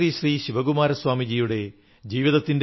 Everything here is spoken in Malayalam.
if you have resources share them with the needy